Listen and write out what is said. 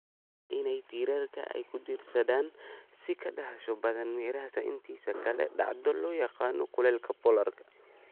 Isbeddelka cimiladu waxay keenaysaa in tiirarka ay ku diirsadaan si ka dhakhso badan meeraha intiisa kale, dhacdo loo yaqaan kulaylka polar.